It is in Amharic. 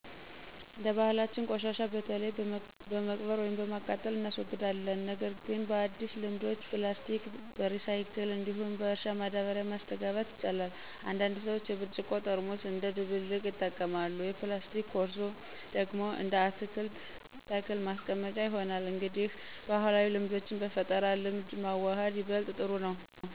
እንደ ባህላችን ቆሻሻ በተለይ በመቅበር ወይም በማቃጠል እናስወግዳለን። ነገር ግን በአዲስ ልምድ ፕላስቲክ በሪሳይክል እንዲሁም በእርሻ ማዳበሪያ ማስተጋባት ይቻላል። አንዳንድ ሰዎች የብርጭቆ ጠርሙስ እንደ ደብልቅ ይጠቀማሉ፣ የፕላስቲክ ኮርሶ ደግሞ እንደ አትክልት ተክል ማስቀመጫ ይሆናል። እንግዲህ ባህላዊ ልምዶችን በፈጠራ ልምድ ማዋሃድ ይበልጥ ጥሩ ነው።